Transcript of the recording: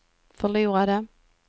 förlorade